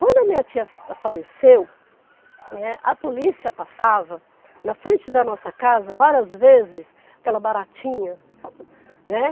Quando a minha tia faleceu, né, a polícia passava na frente da nossa casa várias vezes, aquela baratinha né?